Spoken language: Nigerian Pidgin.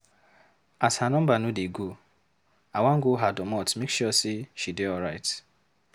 As her number no dey go, I wan go her domot make sure sey she dey alright.